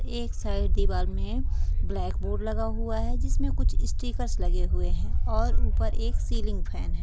एक साइड दीवार में ब्लैक बोर्ड लगा हुआ है जिस में कुछ स्टीकर्स लगे हुए है और ऊपर एक सीलिंग फेन है।